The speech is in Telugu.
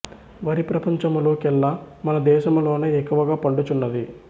వరి ప్రపంచములో కెల్ల మన దేశములోనె ఎక్కువగా పండు చున్నది